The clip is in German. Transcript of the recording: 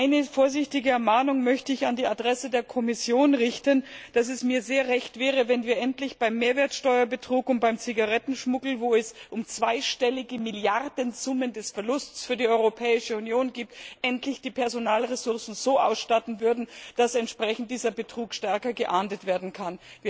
Eine vorsichtige Ermahnung möchte ich an die Adresse der Kommission richten Es wäre mir sehr recht, wenn wir endlich beim Mehrwertsteuerbetrug und beim Zigarettenschmuggel wo es um zweistellige Milliarden Summen des Verlusts für die Europäische Union geht die Personalressourcen so ausstatten würden, dass dieser Betrug stärker geahndet werden kann.